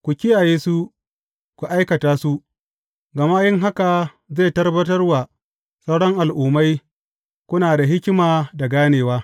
Ku kiyaye su, ku aikata su, gama yin haka zai tabbatar wa sauran al’ummai, kuna da hikima da ganewa.